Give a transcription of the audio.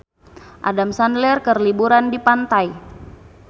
Adam Sandler keur liburan di pantai